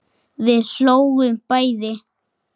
Við hlógum bæði.